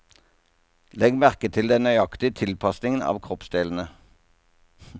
Legg merke til den nøyaktige tilpasningen av kroppsdelene.